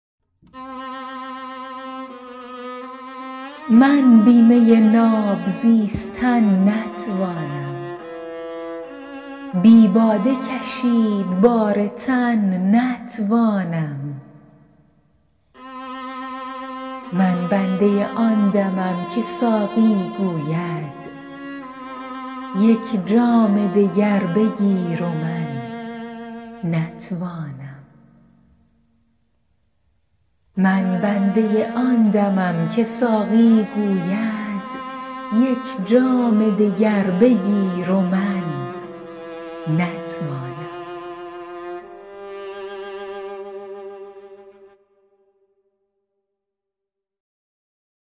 من بی می ناب زیستن نتوانم بی باده کشید بار تن نتوانم من بنده آن دمم که ساقی گوید یک جام دگر بگیر و من نتوانم